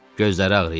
Gözləri ağrıyır.